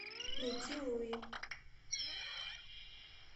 найти луи